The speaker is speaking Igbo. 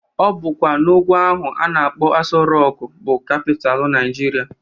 Obụkwa n'ugwu ahụ a na-akpọ Aso Rọk bụ kapital Naịjirịa